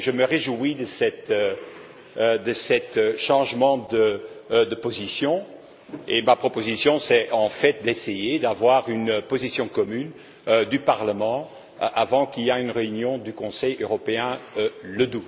Je me réjouis donc de ce changement de position et ma proposition, c'est en fait d'essayer d'avoir une position commune du Parlement avant qu'il y ait une réunion du Conseil européen le